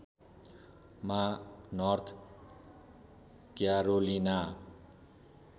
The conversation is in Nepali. मा नर्थ क्यारोलिना